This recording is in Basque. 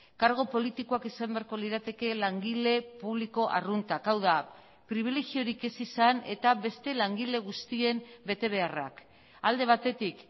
kargu politikoak izan beharko lirateke langile publiko arruntak hau da pribilegiorik ez izan eta beste langile guztien betebeharrak alde batetik